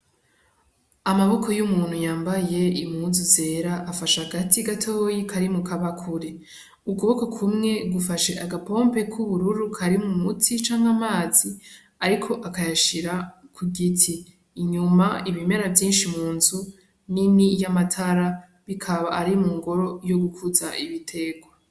Amaboko yumuntu yambaye impunzu zera afashe agati gatoyi kari mu kabakure ukuboko kumwe gufashe agapompo kubururu karimwo umuti canke amazi ariko ayashira ku giti inyuma ibimera vyinshi munzu nini yamatara bukaba nko mu nzu yo gukuza ibitegwa.